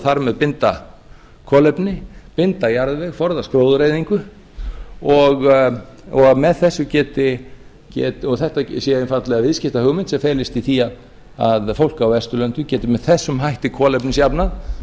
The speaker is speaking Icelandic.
þar með binda kolefni binda jarðveg forðast gróðureyðingu og þetta sé einfaldlega viðskiptahugmynd sem felist í því að fólk á vesturlöndum geti með þessum hætti